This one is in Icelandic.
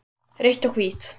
Rautt og hvítt